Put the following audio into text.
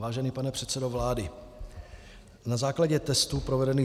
Vážený pane předsedo vlády, na základě testů provedených